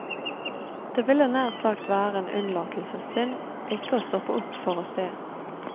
Det ville nær sagt være en unnlatelsessynd ikke å stoppe opp for å se.